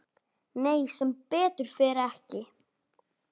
Nei, sem betur fer ekki.